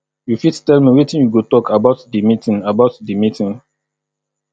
you fit tell me wetin you go talk about di meeting about di meeting